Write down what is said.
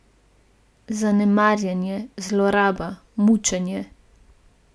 Zanemarjanje, zloraba, mučenje.